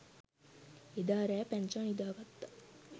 එදා රෑ පැංචා නිදා ගත්ත